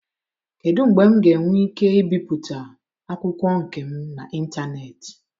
Kedu mgbe m ga-enwe ike ibipụta akwụkwọ nke m n'ịntanetị?